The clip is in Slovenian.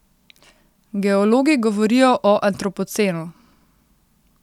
Geologi govorijo o antropocenu.